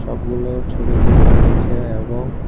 সবগুলো ছবিতে দেখা যাচ্ছে এবং--